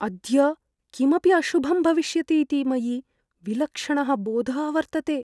अद्य किमपि अशुभं भविष्यतीति मयि विलक्षणः बोधः वर्तते।